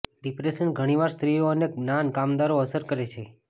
depression ઘણીવાર સ્ત્રીઓ અને જ્ઞાન કામદારો અસર કરે છે